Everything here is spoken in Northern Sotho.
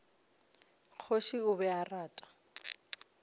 kgoši o be a rata